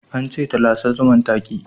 An ce ta lasa zuman, ta ki